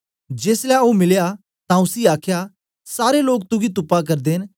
जेसलै ओ मिलया तां उसी आखया सारे लोक तुगी तुपा करदे न